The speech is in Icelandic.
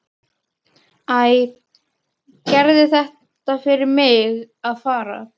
Æ, gerið það fyrir mig að fara.